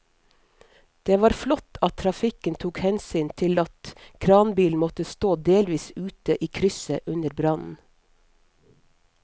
Det var flott at trafikken tok hensyn til at kranbilen måtte stå delvis ute i krysset under brannen.